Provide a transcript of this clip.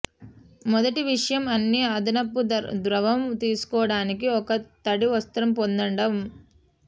మొదటి విషయం అన్ని అదనపు ద్రవం తీసుకోవడానికి ఒక తడి వస్త్రం పొందడం